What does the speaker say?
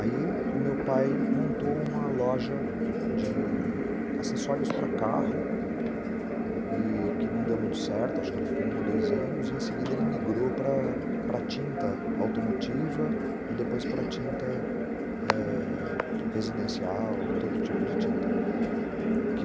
Aí o meu pai montou uma loja de acessórios para carro, que não deu muito certo, acho que ele ficou um ou dois anos, e em seguida ele migrou para para a tinta automotiva e depois para a tinta ãh residencial, todo tipo de tinta.